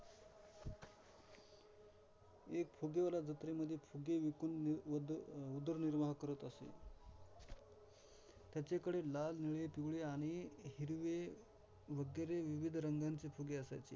एक फुगेवाला जत्रेमध्ये फुगे विकून उद अं उदरनिर्वाह करत असे, त्याच्याकडे लाल, निळे, पिवळे आणि हिरवे वगैरे विविध रंगाचे फुगे असायचे.